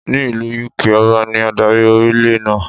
Ní ìlú Yúkaà, Ọba ní adarí orílẹ̀ náà.